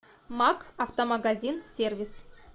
макк автомагазин сервис